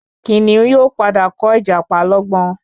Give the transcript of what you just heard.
Kìnìún yóò pàdà kọ ìjàpá lógbón